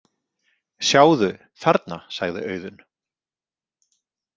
Sjáðu, þarna, sagði Auðunn.